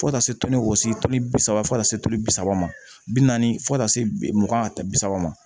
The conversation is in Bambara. Fo ka taa se wɔsi kilo bi saba fo ka taa se turu bi saba ma bi naani fo ka taa se mugan bi saba ma